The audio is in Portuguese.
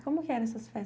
E como eram essas festas?